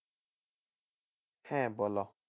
হ্যাঁ বলো।